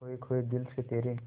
खोए खोए दिल से तेरे